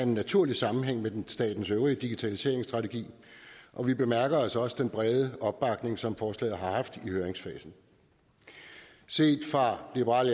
en naturlig sammenhæng med statens øvrige digitaliseringsstrategi og vi bemærker også også den brede opbakning som forslaget har haft i høringsfasen set fra liberal